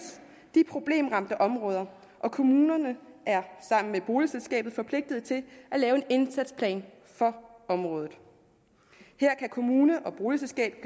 de problemramte områder og kommunen er sammen med boligselskabet forpligtet til at lave en indsatsplan for området her kan kommune og boligselskab